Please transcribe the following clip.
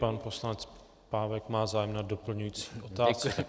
Pan poslanec Pávek má zájem na doplňující otázce.